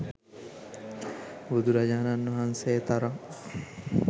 බුදුරජාණන් වහන්සේ තරම්